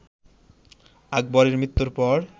আকবরের মৃত্যুর পর